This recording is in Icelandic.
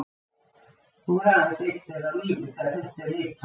Nú er aðeins einn þeirra á lífi þegar þetta er ritað